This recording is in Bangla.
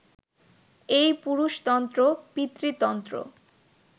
এই পুরুষতন্ত্র, পিতৃতন্ত্র